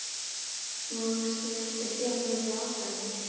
Vonast ég eftir því að hann verði áfram?